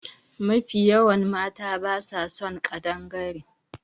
Mafi yawan mata ba sa son ƙadangare